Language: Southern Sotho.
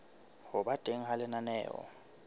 ho ba teng ha lenaneo